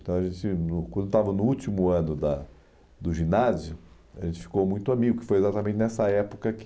Então a gente , quando eu estava no último ano da do ginásio, a gente ficou muito amigo, que foi exatamente nessa época que...